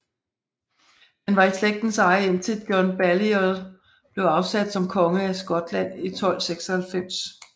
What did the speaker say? Den var i slægtens eje indtil John Balliol blev afsat som konge af Skotland i 1296